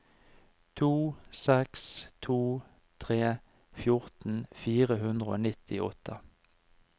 to seks to tre fjorten fire hundre og nittiåtte